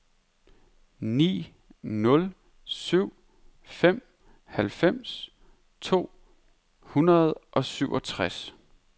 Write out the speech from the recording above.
ni nul syv fem halvfems to hundrede og syvogtres